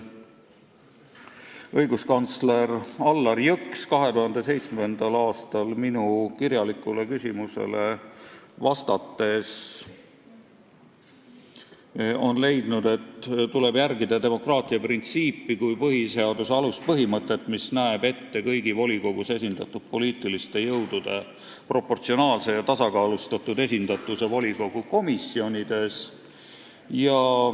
Õiguskantsler Allar Jõks leidis 2007. aastal minu kirjalikule küsimusele vastates, et tuleb järgida demokraatia printsiipi kui põhiseaduse aluspõhimõtet, mis näeb ette kõigi volikogus esindatud poliitiliste jõudude proportsionaalse ja tasakaalustatud esindatuse volikogu komisjonides.